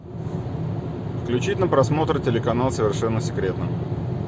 включить на просмотр телеканал совершенно секретно